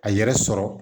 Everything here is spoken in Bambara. A yɛrɛ sɔrɔ